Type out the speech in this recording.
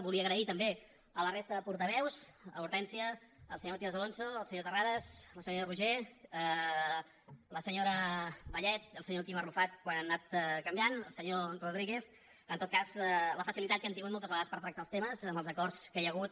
volia agrair també a la resta de portaveus a l’hortènsia el senyor matías alonso el senyor terrades la senyora roigé la senyora vallet i el senyor quim arrufat quan han anat canviant i el senyor rodríguez la facilitat que han tingut moltes vegades per tractar els temes amb els acords que hi ha hagut